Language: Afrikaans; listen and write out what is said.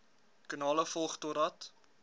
kanale volg totdat